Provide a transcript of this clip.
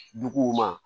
Duguw ma